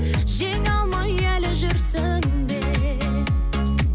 жеңе алмай әлі жүрсің бе